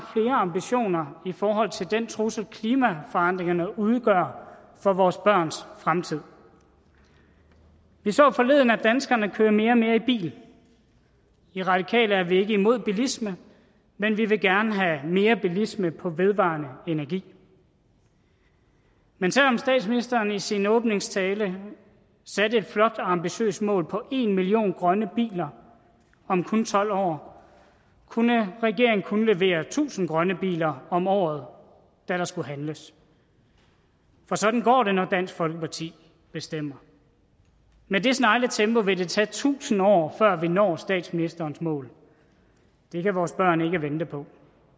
ambitioner i forhold til den trussel klimaforandringerne udgør for vores børns fremtid vi så forleden at danskerne kører mere og mere i bil i radikale venstre er vi ikke imod bilisme men vi vil gerne have mere bilisme på vedvarende energi men selv om statsministeren i sin åbningstale satte et flot og ambitiøst mål på en million grønne biler om kun tolv år kunne regeringen kun levere tusind grønne biler om året da der skulle handles for sådan går det når dansk folkeparti bestemmer med det snegletempo vil det tage tusind år før vi når statsministerens mål det kan vores børn ikke vente på